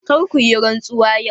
Kar ku yi rantsuwa yau!